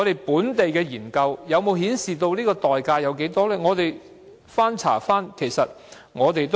本地的研究有否顯示這代價有多大呢？